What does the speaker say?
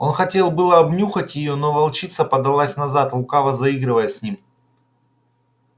он хотел было обнюхать её но волчица подалась назад лукаво заигрывая с ним